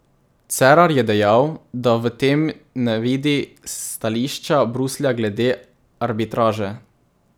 Cerar je dejal, da v tem ne vidi stališča Bruslja glede arbitraže.